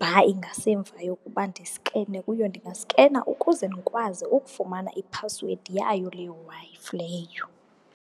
bar ingasemva yokuba ndiskene kuyo ndingaskena ukuze ndikwazi ukufumana iphasiwedi yayo le Wi-Fi leyo.